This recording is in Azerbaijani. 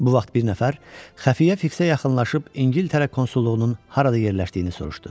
Bu vaxt bir nəfər xəfiyyə fiksə yaxınlaşıb İngiltərə konsulluğunun harada yerləşdiyini soruşdu.